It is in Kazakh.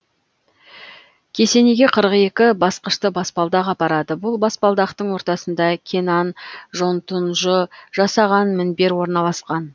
кесенеге қырық екі басқышты баспалдақ апарады бұл баспалдақтың ортасында кенан жонтұнжы жасаған мінбер орналасқан